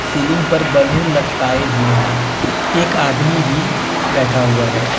Ceiling पर balloon लटकाए हुए है एक आदमी भी बैठा हुआ है।